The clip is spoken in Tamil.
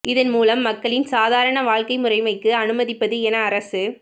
இதன் மூலம் மக்களின் சாதாரான வாழ்க்கை முறைமைக்கு அனுமதிப்பது என அரசு